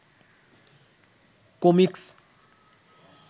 comics